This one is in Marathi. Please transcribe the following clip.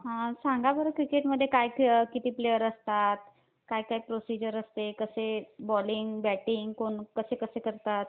सांगा बरं क्रिकेटमध्ये काय काय किती प्लेयर असतात? काय काय प्रोसिजर असते? कसे बॉलिंग, बॅटिंग कोण कसे कसे करतात?